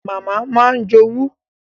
Màmá máa ń jowú